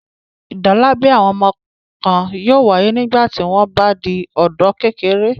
Ìdálábẹ àwọn ọmọ kan yóò wáyé nígbà tí wọ́n bá di ọ̀dọ́-kékeré